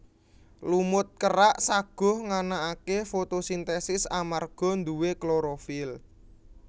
Lumut kerak saguh nganakake fotosintesis amarga nduwe klorofil